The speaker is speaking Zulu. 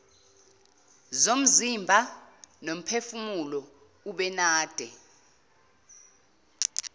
zomzimba nomphefumulo ubenade